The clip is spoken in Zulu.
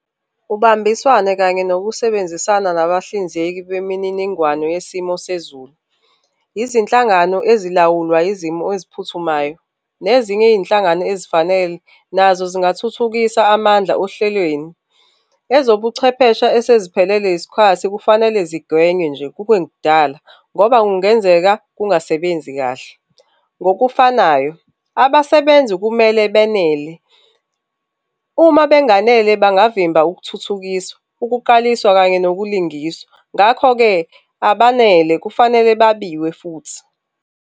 Ubambiswana kanye nokusebenzisana nabahlinzeki bemininingwane yesimo sezulu, izinhlangano ezilawulwa izimo eziphuthumayo nezinye iy'nhlangano ezifanele nazo zingathuthukisa amandla ohlelweni. Ezobuchwepheshe eseziphelelwe yisikhathi kufanele zigwenywe nje kungekudala ngoba kungenzeka kungasebenzi kahle. Ngokufanayo, abasebenzi kumele benele, uma benganele bangavimba ukuthuthukiswa, ukuqaliswa kanye nokulingiswa. Ngakho-ke, abanele kufanele babiwe futhi.